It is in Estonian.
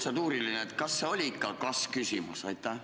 Protseduuriline küsimus: kas see oli ikka kas-küsimus?